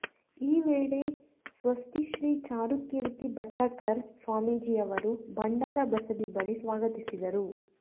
ಈ ವೇಳೆ ಸ್ವಸ್ತಿಶ್ರೀ ಚಾರುಕೀರ್ತಿ ಭಟ್ಟಾರಕ ಸ್ವಾಮೀಜಿಯವರು ಭಂಡಾರ ಬಸದಿ ಬಳಿ ಸ್ವಾಗತಿಸಿದರು